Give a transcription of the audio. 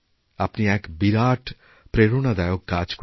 আপনি এক বিরাট প্রেরণাদায়ক কাজ করেছেন